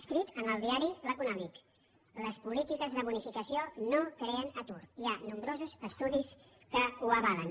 escrit en el diari l’econòmic les polítiques de bonificació no creen ocupació hi ha nombrosos estudis que ho avalen